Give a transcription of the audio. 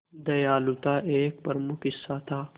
दयालुता एक प्रमुख हिस्सा था